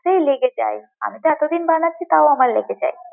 ক্ষেত্রেই লেগে যায়, আমি তো এতদিন বানাচ্ছি তাও আমার লেগে যায়।